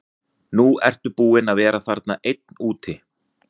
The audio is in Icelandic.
Nú ertu búinn að vera þarna einn úti.